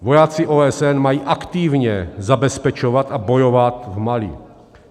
Vojáci OSN mají aktivně zabezpečovat a bojovat v Mali.